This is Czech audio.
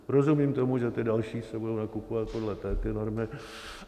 Rozumím tomu, že ty další se budou nakupovat podle této normy.